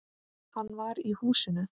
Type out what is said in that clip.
Hann var í húsinu.